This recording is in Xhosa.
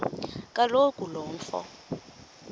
kaloku lo mfo